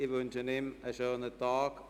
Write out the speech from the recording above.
Ich wünsche ihm einen schönen Tag.